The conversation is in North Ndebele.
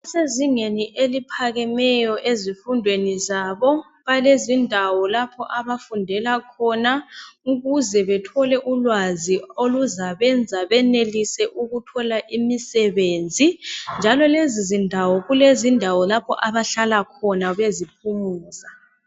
Kusezingeni eliphakemeyo ezifundweni zabo balezindawo lapho abafundela khona ukuze bethole ulwazi oluzabenza benelise ukuthola imisebenzi njalo lezo zindawo kulezindawo lapho abahlahla khona beziphumuza.